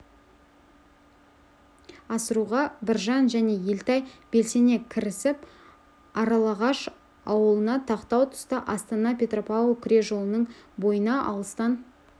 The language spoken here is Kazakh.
асыруға біржан және елтай белсене кірісіп аралағаш ауылына тақау тұста астана-петропавл күре жолының бойына алыстан